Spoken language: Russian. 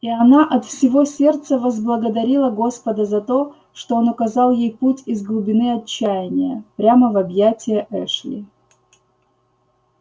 и она от всего сердца возблагодарила господа за то что он указал ей путь из глубины отчаяния прямо в объятия эшли